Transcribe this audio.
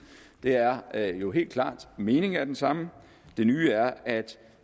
det er er jo helt klart at meningen er den samme det nye er at